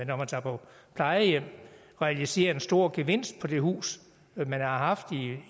når man tager på plejehjem og realiserer en stor gevinst på det hus man har haft